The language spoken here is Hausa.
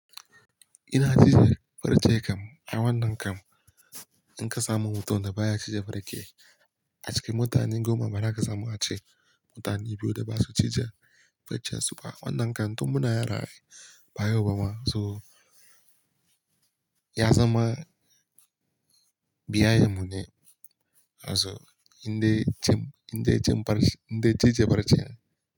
Ina cije farce kam a wannan kam in ka samu mutum da baya cije farke. A cikin mutane goma bara ka samu ace mutane biyu da ba su cije farcen su ba. Wannan kam tun muna yara ba yau ba ma, so ya zama biyayen mu ne. In dai cin, in dai cije farce ne.